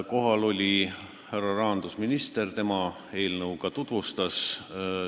Kohal oli ka härra rahandusminister, kes eelnõu tutvustas.